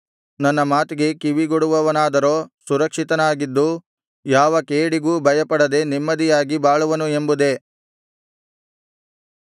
ನನ್ನ ಮಾತಿಗೆ ಕಿವಿಗೊಡುವವನಾದರೋ ಸುರಕ್ಷಿತನಾಗಿದ್ದು ಯಾವ ಕೇಡಿಗೂ ಭಯಪಡದೆ ನೆಮ್ಮದಿಯಾಗಿ ಬಾಳುವನು ಎಂಬುದೇ